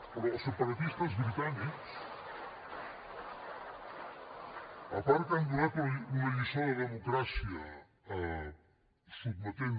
però els separatistes britànics a part que han donat una lliçó de democràcia sotmetent